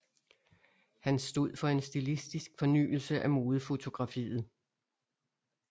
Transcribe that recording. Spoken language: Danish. Han stod for en stilistisk fornyelse af modefotografiet